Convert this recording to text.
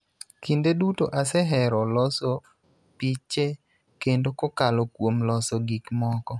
Kinde duto asehero loso piche kendo kokalo kuom loso gik moko,